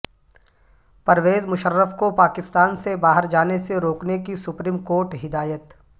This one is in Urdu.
پرویز مشرف کو پاکستان سے باہر جانے سے روکنے کی سپریم کورٹ ہدایت